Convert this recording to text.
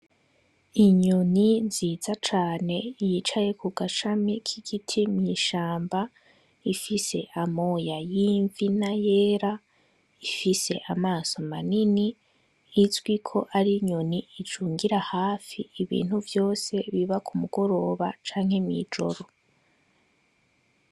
Inyoni nziza cane yicaye kugashami k'igiti mw'ishamba, ifise amoya y'imvi n'ayera ifise amaso manini, izwiko ar'inyoni icungira hafi ibintu vyose biba k'umugoroba canke mw'ijoro.